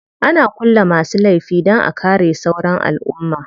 Ana kulle masu laifi dan a kare sauran alumma.